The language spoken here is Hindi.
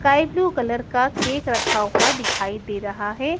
स्काई ब्लू कलर का केक रखा हुआ दिखाइ दे रहा है।